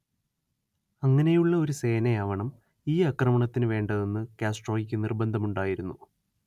അങ്ങനെയുള്ള ഒരു സേനയാവണം ഈ ആക്രമണത്തിനു വേണ്ടതെന്ന് കാസ്ട്രോയക്കു നിർബന്ധമുണ്ടായിരുന്നു